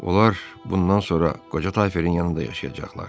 Onlar bundan sonra qoca Tayferin yanında yaşayacaqlar.